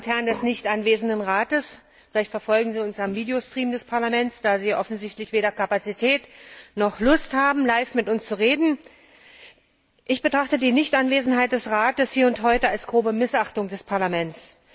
Herr Präsident! Meine Damen und Herren des nicht anwesenden Rates! Vielleicht verfolgen Sie uns im Videostream des Parlaments, da Sie offensichtlich weder Kapazität noch Lust haben, live mit uns zu reden. Ich betrachte die Nichtanwesenheit des Rates hier und heute als grobe Missachtung des Parlaments.